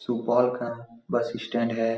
सुपौल का bus stand है।